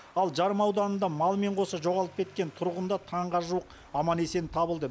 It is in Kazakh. ал жарма ауданында малымен қоса жоғалып кеткен тұрғын да таңға жуық аман есен табылды